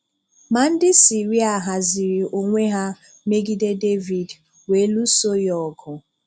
Ma ndị Siria haziri onwe ha megide Devid, wee luso ya ọgụ.